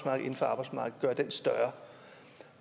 og inden for arbejdsmarkedet større